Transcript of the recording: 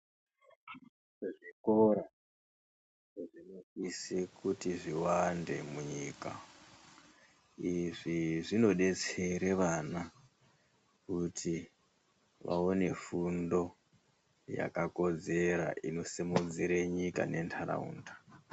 Zvikora zvinosisa kuti zviwande munyika izvi zvinodetsera vana kuti vaone fundo yakakodzera inosimudzire nyika ne ntaraunda.